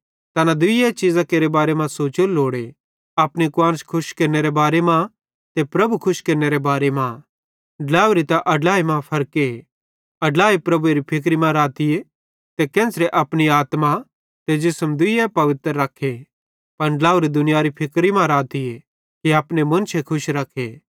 तैने दूई चीज़ां केरे बारे मां सोचोरू लोड़े अपनी कुआन्श खुश केरनेरे बारे मां ते प्रभु खुश केरनेरे बारे मां ड्लावरी ते अड्लाई मां भी फर्के अड्लाई प्रभुएरी फिक्री मां रहतीए कि केन्च़रे अपनी आत्मा ते जिसम दुइये पवित्र रखे पन ड्लावरी दुनियारे फिक्री मां रहतीए कि अपने मुन्शे खुश रखे